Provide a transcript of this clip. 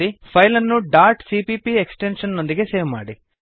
file ಅನ್ನು dot CPP extension ನೊಂದಿಗೆ save ಮಾಡಿ